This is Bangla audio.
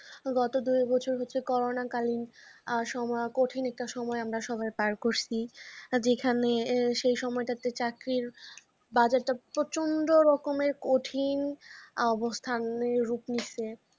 গত দু একবছর হচ্ছে যে করোনা কালীন আর সময় কঠিন একটা সময় আমরা সবাই পার করছি। যেখানে সেই সময়টাতে চাকরির বাজারটা প্রচন্ড রকমের কঠিন অবস্থার রূপ নিচ্ছে।